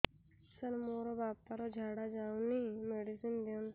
ସାର ମୋର ବାପା ର ଝାଡା ଯାଉନି ମେଡିସିନ ଦିଅନ୍ତୁ